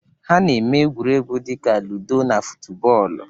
Ha na-eme egwuregwu dị ka ludo na futubọọlụ.